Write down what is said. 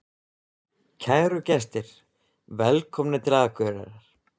Kæru gestir! Velkomnir til Akureyrar.